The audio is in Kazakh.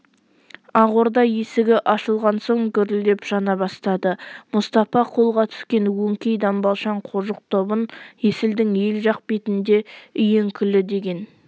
ақ орда есігі ашылған соң гүрілдеп жана бастады мұстапа қолға түскен өңкей дамбалшаң қожық тобын есілдің ел жақ бетінде үйеңкілі деген